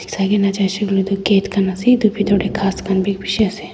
saikae na jaishey koilae tu gate khan ase it bitor tae ghas khan bi bishi ase--